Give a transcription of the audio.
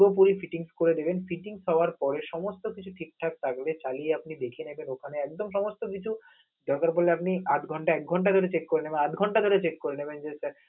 পুরোপুরি fitting স করে দিবেন fitting স হওয়ার পরে সমস্ত কিছু ঠিকঠাক থাকবে খালি আপনে দেখে নেবেন ওখানে একদম সমস্ত কিছু, দরকার পড়লে আপনি আধ ঘন্টা, এক ঘন্টা করে check করে নেবেন, আধাঘন্টা করে check করে নেবেন যে টা